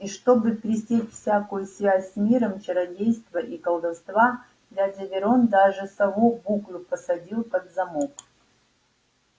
и чтобы пресечь всякую связь с миром чародейства и колдовства дядя верон даже сову буклю посадил под замок